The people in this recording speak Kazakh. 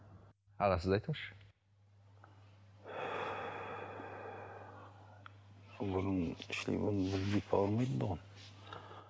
аға сіз айтыңызшы сол бұрын шілей ауырмайтын тұғын